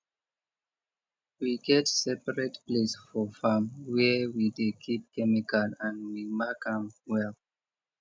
we get separate place for farm where we dey keep chemical and we mark am well